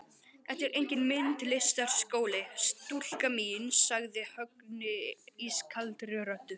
Þetta er enginn myndlistarskóli, stúlka mín sagði Högni ískaldri röddu.